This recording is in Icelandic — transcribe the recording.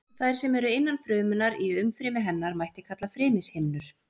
Þær sem eru innan frumunnar í umfrymi hennar mætti kalla frymishimnur.